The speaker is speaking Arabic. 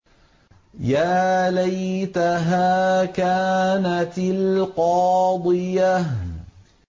يَا لَيْتَهَا كَانَتِ الْقَاضِيَةَ